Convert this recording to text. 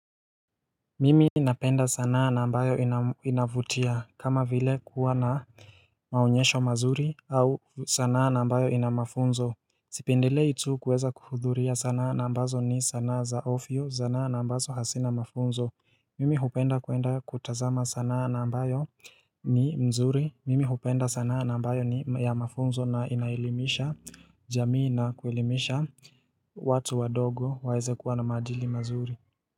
Mimi napenda sanaa nambayo inavutia kama vile kuwa na maunyesho mazuri au sanaa nambayo inamafunzo Sipindile itu kuweza kuhudhuria sanaa nambazo ni sanaa za ofyo sanaa nambazo hasina mafunzo Mimi hupenda kuenda kutazama sanaa nambayo ni mzuri Mimi hupenda sanaa nambayo ni ya mafunzo na inailimisha jamii na kuilimisha watu wa dogo waeze kuwa na majili mazuri.